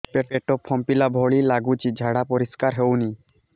ପେଟ ଫମ୍ପେଇଲା ଭଳି ଲାଗୁଛି ଝାଡା ପରିସ୍କାର ହେଉନି